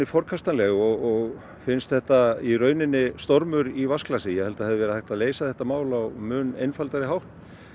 forkastanleg og finnst þetta í rauninni stormur í vatnsglasi ég held að það hefði verið hægt að leysa þetta mál á mun einfaldari hátt